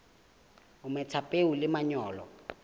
o metha peo le manyolo